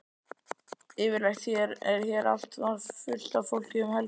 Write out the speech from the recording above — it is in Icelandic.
Yfirleitt er hér alltaf fullt af fólki um helgar.